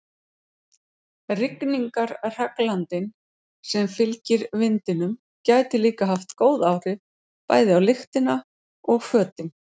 Rigningarhraglandinn sem fylgir vindinum gæti líka haft góð áhrif, bæði á lyktina og fötin.